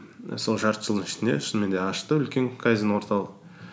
і сол жарты жылдың ішінде шынымен де ашты үлкен кайдзен орталық